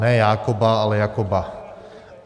Ne Jákoba, ale Jakoba.